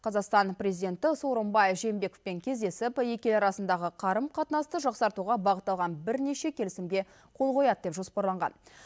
қазақстан президенті сооронбай жээнбековпен кездесіп екі ел арасындағы қарым қатынасты жақсартуға бағытталған бірнеше келісімге қол қояды деп жоспарланған